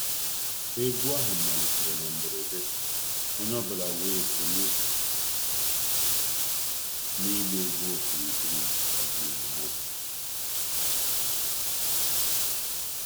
Egwu ahụ malitere na mberede, onye ọ bụla wee sonye na ịgba egwu okirikiri ọdịnala ahụ.